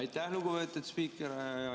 Aitäh, lugupeetud spiiker!